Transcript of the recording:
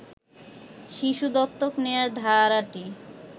শিশু দত্তক নেয়ার ধারাটি